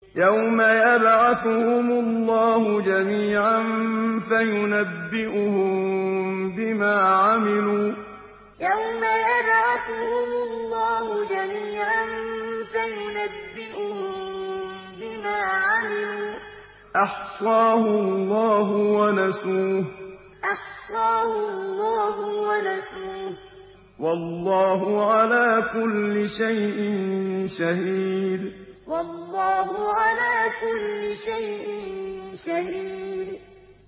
يَوْمَ يَبْعَثُهُمُ اللَّهُ جَمِيعًا فَيُنَبِّئُهُم بِمَا عَمِلُوا ۚ أَحْصَاهُ اللَّهُ وَنَسُوهُ ۚ وَاللَّهُ عَلَىٰ كُلِّ شَيْءٍ شَهِيدٌ يَوْمَ يَبْعَثُهُمُ اللَّهُ جَمِيعًا فَيُنَبِّئُهُم بِمَا عَمِلُوا ۚ أَحْصَاهُ اللَّهُ وَنَسُوهُ ۚ وَاللَّهُ عَلَىٰ كُلِّ شَيْءٍ شَهِيدٌ